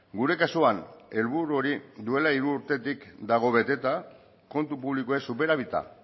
gure kasuan helburu hori duela hiru urtetik dago beteta kontu publikoek superabita